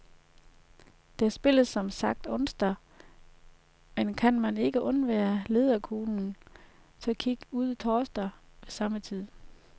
Der spilles som sagt onsdag, men kan man ikke undvære læderkuglen, så kig ud torsdag ved samme tid.